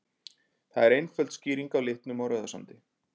Það er einföld skýring á litnum á Rauðasandi.